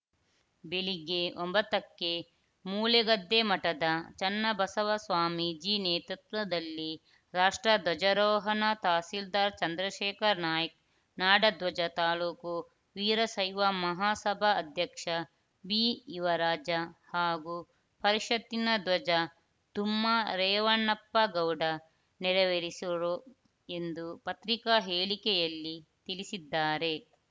ಬೆಳಗ್ಗೆ ಒಂಬತ್ತಕ್ಕೆ ಮೂಲೆಗದ್ದೆ ಮಠದ ಚನ್ನಬಸವ ಸ್ವಾಮೀಜಿ ನೇತೃತ್ವದಲ್ಲಿ ರಾಷ್ಟ್ರಧ್ವಜರೋಹಣ ತಹಶೀಲ್ದಾರ್‌ ಚಂದ್ರಶೇಖರ ನಾಯ್ಕ ನಾಡ ಧ್ವಜ ತಾಲೂಕು ವೀರಶೈವ ಮಹಾಸಭಾ ಅಧ್ಯಕ್ಷ ಬಿಯುವರಾಜ ಹಾಗೂ ಪರಿಷತ್ತಿನ ಧ್ವಜ ದುಮ್ಮಾ ರೇವಣಪ್ಪ ಗೌಡ ನೆರವೇರಿಸುವರು ಎಂದು ಪತ್ರಿಕಾ ಹೇಳಿಕೆಯಲ್ಲಿ ತಿಳಿಸಿದ್ದಾರೆ